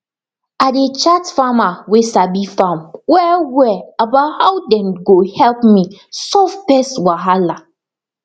i dey chat farmer way sabi farm well well about how dem go help me solve pest wahala